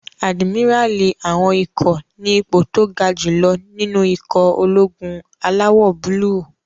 Àdìmíràlí àwọn ikọ̀ ní ipò tó ga jù lọ nínú ikọ̀ ológun alawọ̀-búúlù